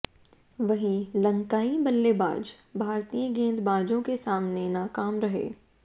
वहीं लंकाई बल्लेबाज भारतीय गेंदबाजों के सामने नाकाम रहे